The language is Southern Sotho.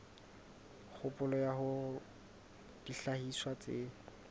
kgopolo ya hore dihlahiswa tse